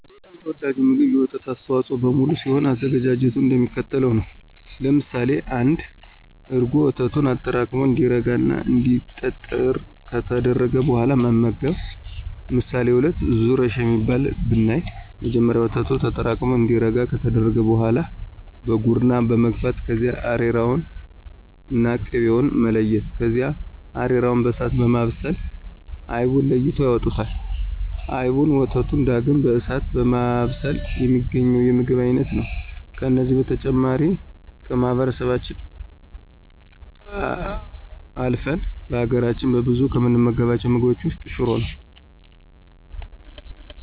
በጣም ተወዳጁ ምግብ የወተት አስተዋፆኦዎች በሙሉ ሲሆን አዘገጃጀቱም እንደሚከተለው ነው። ለምሳሌ1፦ እርጎ፦ ወተቱን አጠራቅሞ እንዲረጋ እና እንዲጠጥር ከተደረገ በኋላ መመገብ። ምሳሌ2፦ ዙረሽ የሚባለው ብናይ መጀመሪያ ወተቱ ተጠራቅሙ እንዲረጋ ከተደረገ በኋላ በጉርና መግፋት ከዚያ አሬራውንና ቅቤውን መለያየት ከዚያ አሬራውን በእሳት በማብሰል አይቡን ለይተው ያወጡታል። አይቡንና ወተቱን ዳግም በእሳት በማብሰል የሚገኘው የምግብን አይነት ነው። ከነዚህ በተጨማሪ ከማህበረሰባችን አልፍን በሀገራች በብዛት ከምንመገባቸው ምግቦች ውስጥ ሽሮ ነው።